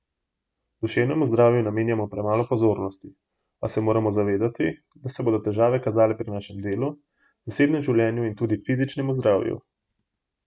Duševnemu zdravju namenjamo premalo pozornosti, a se moramo zavedati, da se bodo težave kazale pri našem delu, zasebnem življenju in tudi fizičnemu zdravju.